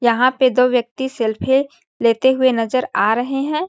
यहाँ पे दो व्यक्ति सल्फ़े लेते हुए नज़र आ रहै है।